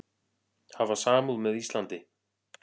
Hafa samúð með Íslandi